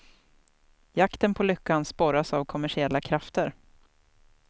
Jakten på lyckan sporras av kommersiella krafter.